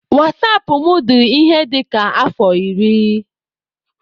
Wasapụ m dị ihe dịka afọ iri.